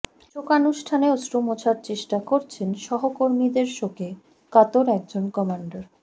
শোকানুষ্ঠানে অশ্রু মোছার চেষ্টা করছেন সহকর্মীদের শোকে কাতর একজন কমান্ডার